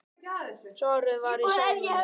Svarið var í sjálfum mér.